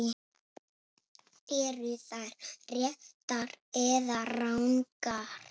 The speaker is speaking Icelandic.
Eru þær réttar eða rangar?